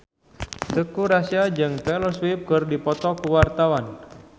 Teuku Rassya jeung Taylor Swift keur dipoto ku wartawan